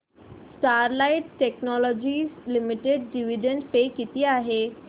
Sterlite technologies limited dividend pay किती आहे